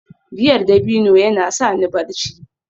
giyar dabino yana sa ni barci